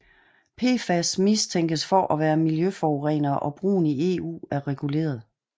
PFAS mistænkes for at være miljøforurenere og brugen i EU er reguleret